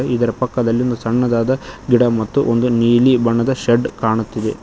ಹಾಗೆ ಇದರ ಪಕ್ಕದಲ್ಲಿ ಒಂದು ಸಣ್ಣದಾದ ಗಿಡ ಮತ್ತು ಒಂದು ನೀಲಿ ಬಣ್ಣದ ಶೆಡ್ ಕಾಣುತ್ತಿದೆ.